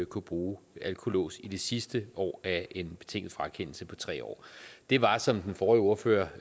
kunne bruge alkolås i det sidste år af en betinget frakendelse på tre år det var som den forrige ordfører